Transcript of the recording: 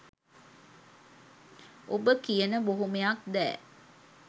ඔබ කියන බොහොමයක් දෑ